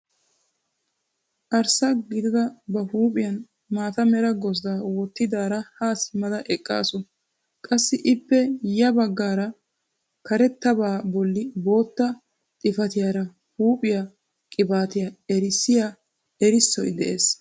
Arssa gidada ba huuphphiyaan maata mera gozddaa wottidaara haa simmada eqqaasu. qassi ippe ya baggaara karettabaa bolli bootta xifatiyaara huuphphiyaa qibatiyaa erissiyaa erissoy de'ees.